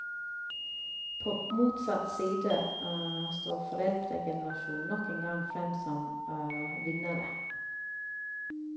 På motsatt side står foreldregenerasjonen nok en gang frem som vinnere.